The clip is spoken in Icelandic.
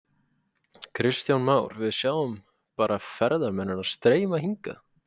Kristján Már: Við sjáum bara ferðamennina streyma hingað?